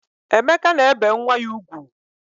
Emeka na-ebe nwa ya ugwu